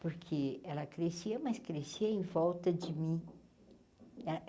Porque ela crescia, mas crescia em volta de mim.